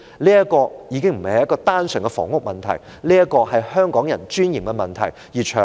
這已非單純房屋的問題，也是香港人尊嚴的問題。